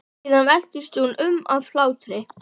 Síðan veltist hún um af hlátri.